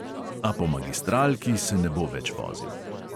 A po magistralki se ne bo več vozil ...